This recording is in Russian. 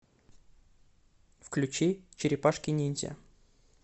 включи черепашки ниндзя